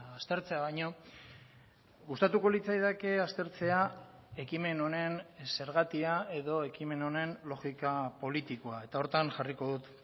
aztertzea baino gustatuko litzaidake aztertzea ekimen honen zergatia edo ekimen honen logika politikoa eta horretan jarriko dut